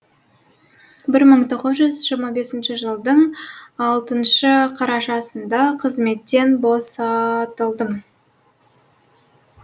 бір мың тоғыз жүз жирыма бесінші жылдың алтыншы қарашасында қызметтен босатылдым